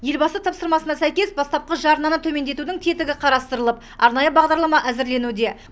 елбасы тапсырмасына сәйкес бастапқы жарнаны төмендетудің тетігі қарастырылып арнайы бағдарлама әзірленуде